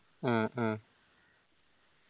ആ ആ